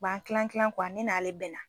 U b'an kilan kilan ne n'ale bɛnna.